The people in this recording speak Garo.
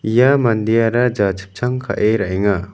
ia mandeara jachipchang ka·e ra·enga.